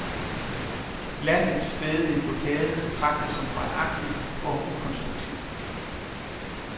Landets stædige blokade betragtes som barnagtig og ukonstruktiv.